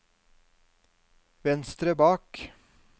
venstre bak